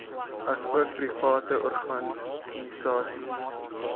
asook private organisasies